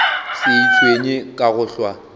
se itshwenye ka go hlwa